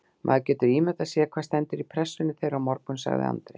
Maður getur ímyndað sér hvað stendur í pressunni þeirra á morgun, sagði Andri.